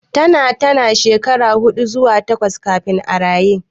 Tana tana shekara huɗu zuwa takwas kafin a raye.